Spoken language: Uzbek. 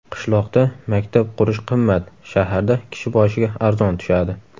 Qishloqda maktab qurish qimmat, shaharda kishi boshiga arzon tushadi.